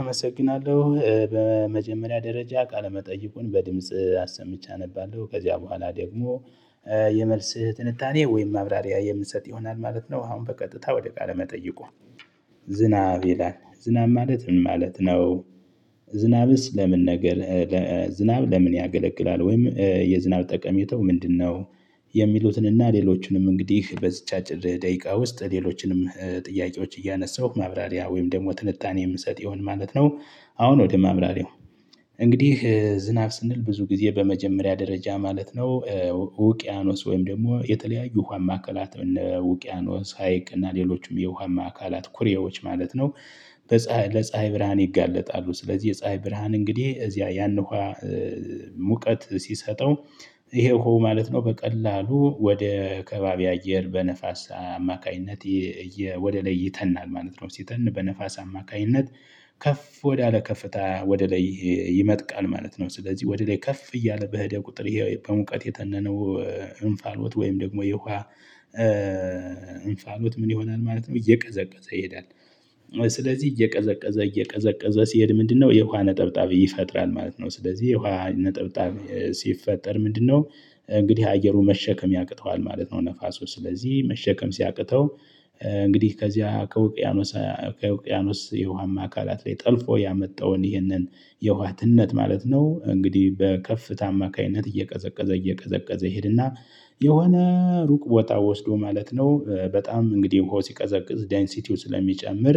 አመሰግናለሁ በመጀመሪያ ደረጃ ቃለ መጠይቁን በድምጽ አሰምቼ አነባለሁ ከዚያ በኋላ ደግሞ የመልስህ ትንታኔ ወይም ማብራሪያ የምንሰጥ ይሆናል ማለት ነው። አሁን በቀጥታ ወደ ቃለ መጠይቁ። ዝናብ ይላል ዝናብ ማለት ምን ማለት ነው? ዝናብስ ለምን ነገር? ዝናብ ለምን ያገለቅላል ወይም የዝናብ ጠቀሜታው ምንድነው? የሚሉትንና ሌሎቹንም እንግዲህ በዝቻችል አጭር ደቂቃ ውስጥ ሌሎችንም ጥያቄዎች እያነሳሁ ማብራሪያ ወይም ደግሞ ትልታኔ የምሰጥ ይሆን ማለት ነው። አሁን ወደ ማብራሪያው። እንግዲህ ዝናብ ስንል ብዙ ጊዜ በመጀመሪያ ደረጃ ማለት ነው። ውቅያኖስ ወይም ደግሞ የተለያዩ ውሃ ማዕከላት እነ ውቅያኖስ ሀይቅ እና ሌሎችም የውሃማ አካላት ኩሬዎች ማለት ነው። ለፀሀይ ብርሃን ይጋለጣሉ ስለዚህ የፀሀይ ብርሃን እንግዲህ እዚያ ያን ሙቀት ሲሰጠው። ይሄው ማለት ነው። በቀላሉ ወደ ከባቢ አየር በነፋስ አማካኝነት። ወደ ለይተናል ማለት ነው። ሲተን በነፋስ አማካኝነት ከፍ ወዳለ ከፍታ ወደ ላይ ይመጥቃል ማለት ነው። ስለዚህ ወደ ላይ ከፍ እያለ በህደህ ቁጥር ይሄው በሙቀት የተነነው። እንፋልወጥ ወይም ደግሞ የውሃ እንፋሎት ምን ይሆናል ማለት ነው። እየቀዘቀዘ ይሄዳል። ስለዚህ እየቀዘቀዘ እየቀዘቀዘ ሲሄድ ምንድነው? የውሃ ነጠብጣብ ይፈጥራል ማለት ነው። ስለዚህ የውሃ ነጠብጣብ ሲፈጠር ምንድነው? እንግዲህ አየሩ መሸከም ያቅተዋል ማለት ነው። ነፋሱ ስለዚህ መሸከም ሲያቅተው። እንግዲህ ከዚያ ከውቅያኖስ ከውቅያኖስ የውሃማ አካላት ላይ ጠልፎ ያመጣውን ይህንን የውሃትነት ማለት ነው። እንግዲህ በከፍተ አማካኝነት እየቀዘቀዘ እየቀዘቀዘ ይሄድና የሆነ ሩቅ ወጣ ወስዶ ማለት ነው። በጣም እንግዲህ በሆነ ሲቀዘቅዝ ዴንሲቲው ስለሚጨምር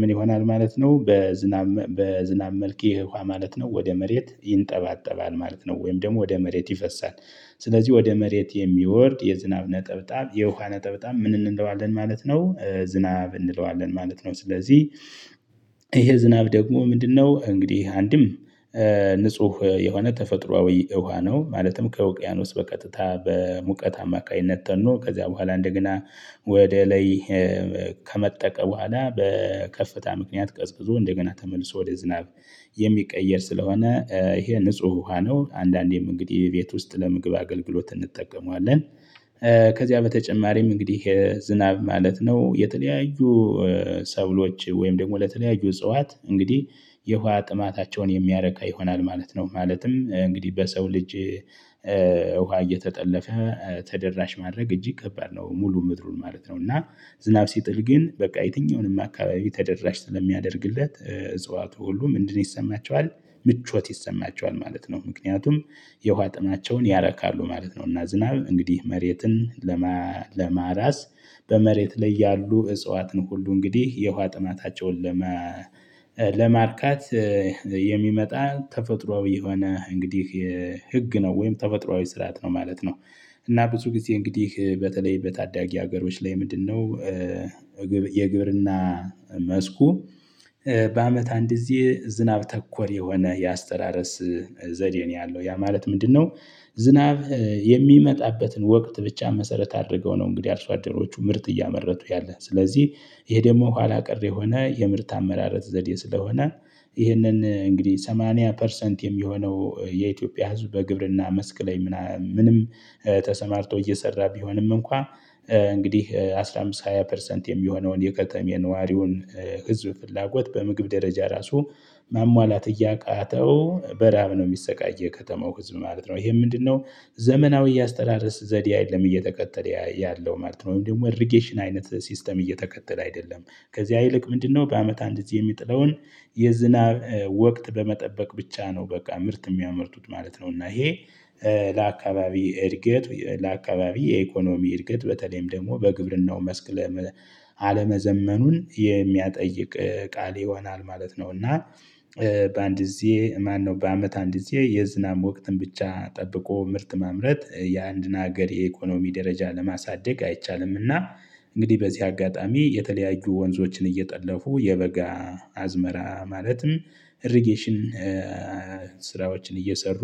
ምን ይሆናል ማለት ነው። በዝናብ በዝናብ መልኬ ይሄ ውሃ ማለት ነው ወደ መሬት ይንጠባጠባል ማለት ነው። ወይም ደግሞ ወደ መሬት ይፈሳል። ስለዚህ ወደ መሬት የሚወርድ የዝናብ ነጠብጣብ የውካ ነጠብጣብ ምን እንለዋለን ማለት ነው። ዝናብ እንለዋለን ማለት ነው። ስለዚህ ይሄ ዝናብ ደግሞ ምንድነው? እንግዲህ አንድም ንጹህ የሆነ ተፈጥሮአዊ ውሃ ነው። ማለትም ከውቅያኖስ በቀጥታ በሙቀት አማካኝነት ተኖ ከዚያ በኋላ እንደገና ወደ ላይ። ከመጠቀ በኋላ በከፍተኛ ምክንያት ቀዝዝዞ እንደገና ተመልሶ ወደ ዝናብ የሚቀየር ስለሆነ ይሄ ንጹህ ውሃ ነው። አንዳንዴም እንግዲህ ቤት ውስጥ ለመግባት አገልግሎት እንጠቀመዋለን። ከዚያ በተጨማሪም እንግዲህ የዝናብ ማለት ነው። የተለያዩ ሰብሎች ወይም ደግሞ ለተለያዩ እጽዋት እንግዲህ የውሃ ጥማታቸውን የሚያረካ ይሆናል ማለት ነው። ማለትም እንግዲህ በሰው ልጅ ውሃ እየተጠለፈ ተደራሽ ማድረግ እጅግ ከባድ ነው። ሙሉ ምድሩን ማለት ነው። እና ዝናብ ሲጥል ግን በቃ የትኛውንም አካባቢ ተደራሽ ስለሚያደርግለት እጽዋቱ ሁሉም እንድን ይሰማቸዋል። ምቾት ይሰማቸዋል ማለት ነው። ምክንያቱም የውሃ ጥናቸውን ያረካሉ ማለት ነው። እና ዝናብ እንግዲህ መሬትን። ለመራስ በመሬት ላይ ያሉ እጽዋትን ሁሉ እንግዲህ የውሃ ጥማታቸውን ለመ ለማርካት የሚመጣ ተፈጥሮአዊ የሆነ እንግዲህ ህግ ነው። ወይም ተፈጥሮአዊ ስርዓት ነው ማለት ነው። እና ብዙ ጊዜ እንግዲህ በተለይ በታዳጊ ሀገሮች ላይ ምንድነው? የግብርና መስኩ በአመት አንድ ጊዜ ዝናብ ተኮር የሆነ የአስተራረስ ዘዴ ነው ያለው ያ ማለት ምንድነው? ዝናብ የሚመጣበትን ወቅት ብቻ መሰረት አድርገው ነው። እንግዲህ አርሶ አደሮቹ ምርጥ እያመረቱ ያለ ስለዚህ። ይሄ ደግሞ ኋላ ቀር የሆነ የምርት አመራረት ዘዴ ስለሆነ። ይህንን እንግዲህ ሰማንያ ፐርሰንት የሚሆነው የኢትዮጵያ ህዝብ በግብርና መስቅ ላይ ምናምን ምንም ተሰማርቶ እየሰራ ቢሆንም እንኳን። እንግዲህ አስራ አምስት ሃያ ፐርሰንት የሚሆነውን የከተማ የነዋሪውን ህዝብ ፍላጎት በምግብ ደረጃ ራሱ ማሟላት እያቃተው በራም ነው የሚሰቃየው ከተማው ህዝብ ማለት ነው። ይሄ ምንድነው? ዘመናዊ አስተዳደስ ዘዴ አይደለም እየተከተለ ያለው ማለት ነው። ወይም ደግሞ አዲስን አይነት ሲስተም እየተከተለ አይደለም። ከዚህ አይልቅ ምንድነው? በአመት አንድ እዚህ የሚጥለውን የዝናብ ወቅት በመጠበቅ ብቻ ነው በቃ ምርት የሚያመርቱት ማለት ነው። እና ይሄ ለአካባቢ እድገት ለአካባቢ የኢኮኖሚ እድገት በተለይም ደግሞ በግብርናው መስክ አለመዘመኑን የሚያጠይቅ ቃል ይሆናል ማለት ነው። እና በአንድ ጊዜ ማነው በአመት አንድ ጊዜ የዝናብ ወቅትን ብቻ ጠብቆ ምርት ማምረት የአንድ ሀገር የኢኮኖሚ ደረጃ ለማሳደግ አይቻልምና። እንግዲህ በዚህ አጋጣሚ የተለያዩ ወንዞችን እየጠለፉ የበጋ አዝመራ ማለትም እሪጌሽን ስራዎችን እየሰሩ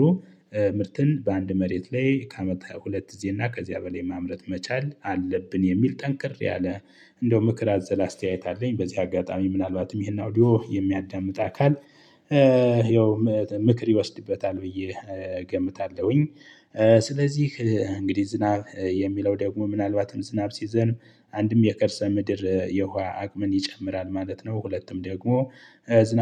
ምርትን በአንድ መሬት ላይ ከአመት ሃያ ሁለት እዚህ እና ከዚያ በላይ ማምረት መቻል አለብን። የሚል ጠንክር ያለ እንደው ምክር አዘለ አስተያየት አለኝ። በዚህ አጋጣሚ ምናልባትም ይሄን አውዲዮ የሚያዳምጥ አካል ያው ምክር ይወስድበታል ብዬ ይገምታለሁኝ። ስለዚህ እንግዲህ ዝናብ የሚለው ደግሞ ምናልባትም ዝናብ ሲዘንብ አንድም የቅርሰ ምድር የውሃ አቅምን ይጨምራል ማለት ነው። ሁለቱም ደግሞ